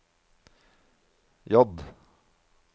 J